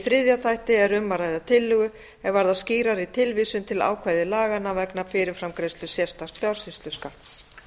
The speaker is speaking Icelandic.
þriðja þætti er um að ræða tillögu er varðar skýrari tilvísun til ákvæða laganna vegna fyrirframgreiðslu sérstaks fjársýsluskatts